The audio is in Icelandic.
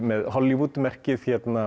með Hollywood verkið